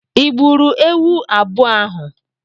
I gburu ewu abụọ ahụ?